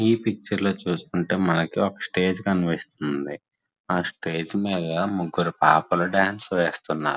ఈ పిక్చర్ లో చూస్కుంటే మనకి ఒక స్టేజ్ కనిపిస్తుంది ఆ స్టేజ్ మీద ముగ్గురు పాపలు డాన్స్ వేస్తున్నారు.